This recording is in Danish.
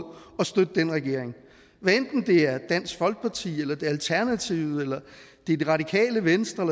at støtte denne regering hvad enten det er dansk folkeparti eller det er alternativet eller det det radikale venstre